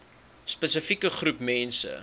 spesifieke groep mense